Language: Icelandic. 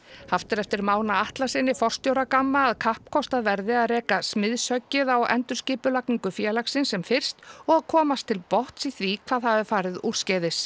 haft er eftir Mána Atlasyni forstjóra Gamma að kappkostað verði að reka smiðshöggið á endurskipulagningu félagsins sem fyrst og að komast til botns í því hvað hafi farið úrskeiðis